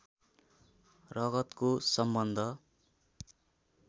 रगतको सम्बन्ध